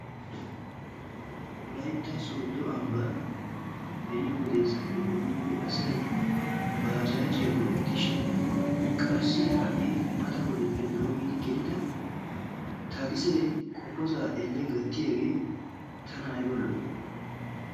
Wolaytta sodo ambban beni wodeesappe doommidi asay baajaajiya go'ettishin qassi ha'i mata wodetuppe doommidi gelida takisee qopposaa elle gattiyage tana ayiba lo'i!